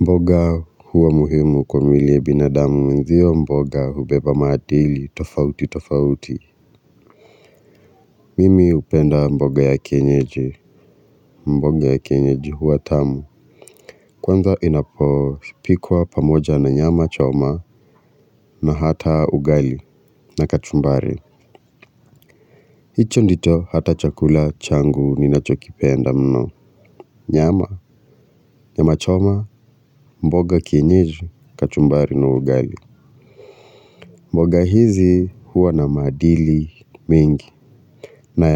Mboga huwa muhimu kwa mwili ya binadamu mwenzio mboga hubeba maadili tofauti tofauti. Mimi hupenda mboga ya kienyeji. Mboga ya kienyeji huwa tamu. Kwanza inapopikwa pamoja na nyama choma na hata ugali na kachumbari. Hicho ndicho hata chakula changu ninachokipenda mno nyama nyama choma mboga kienyeji kachumbari na ugali. Mboga hizi huwa na maadili mengi na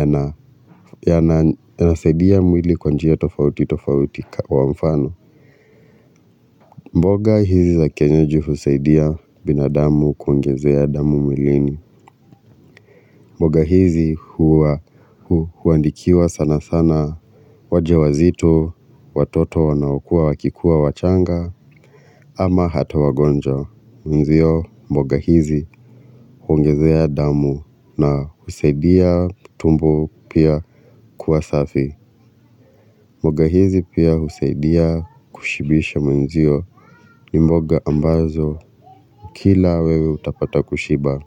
yanasaidia mwili kwa njia tofauti tofauti kwa mfano. Mboga hizi za kienyeji husaidia binadamu kuongezea damu mwilini. Mboga hizi huandikiwa sana sana wajawazito, watoto wanaokua wakikuwa wachanga ama hata wagonjwa. Mwenzio mboga hizi huongezea damu na husaidia tumbo pia kuwa safi. Mboga hizi pia husaidia kushibisha mwenzio ni mboga ambazo ukila wewe utapata kushiba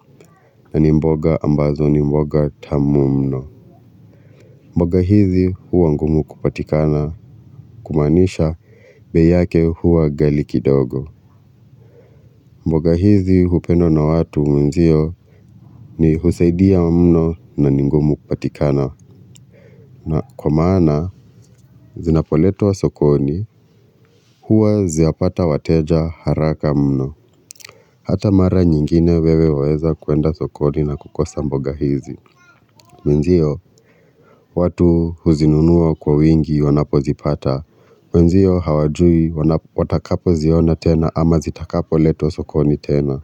na ni mboga ambazo ni mboga tamu mno. Mboga hizi huwa ngumu kupatikana kumaanisha bei yake huwa ghali kidogo. Mboga hizi hupendwa na watu mwenzio ni husaidia mno na ni ngumu kupatikana na kwa maana zinapoletwa sokoni huwa zapata wateja haraka mno. Hata mara nyingine wewe waweza kwenda sokoni na kukosa mboga hizi. Mwenzio watu huzinunua kwa wingi wanapozipata. Mwenzio hawajui watakapoziona tena ama zitakapoletwa sokoni tena.